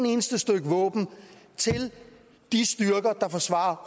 eneste stykke våben til de styrker der forsvarer